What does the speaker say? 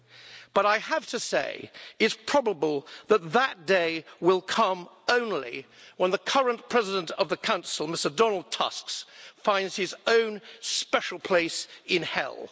However, I have to say it's probable that that day will come only when the current President of the Council, Donald Tusk, finds his own special place in hell.